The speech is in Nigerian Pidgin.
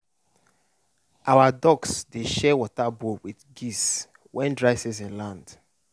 our ducks dey share water bowl with geese when dry season land.